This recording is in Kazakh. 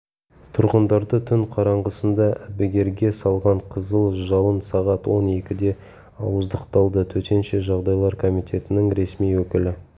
тұрғындарды түн қараңғысында әбігерге салған қызыл жалын сағат он екіде ауыздықталды төтенше жағдайлар комитетінің ресми өкілі